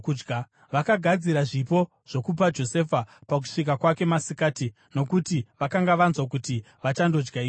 Vakagadzira zvipo zvokupa Josefa pakusvika kwake masikati, nokuti vakanga vanzwa kuti vachandodya ikoko.